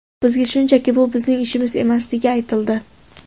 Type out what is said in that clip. Bizga shunchaki bu bizning ishimiz emasligi aytildi.